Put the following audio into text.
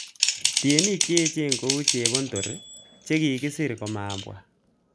Tienik che echen kou Chepondor che kikisir komabwa